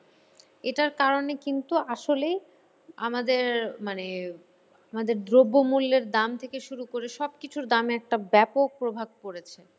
এটার কারণেই কিন্তু আসলেই আমাদের মানে আমাদের দ্রব্যমূল্যের দাম থেকে শুরু করে সবকিছুর দামে একটা ব্যাপক প্রভাব পড়েছে।